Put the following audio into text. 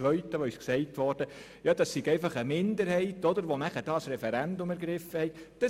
Zweitens wurde gesagt, es sei einfach eine Minderheit gewesen, die das Referendum ergriffen hatte.